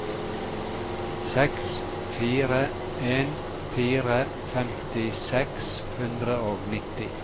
seks fire en fire femti seks hundre og nitti